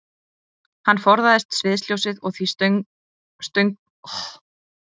Hann forðaðist sviðsljósið og því stönguðust sögusagnir um hann stundum á.